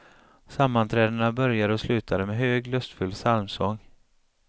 Sammanträdena började och slutade med hög, lustfylld psalmsång.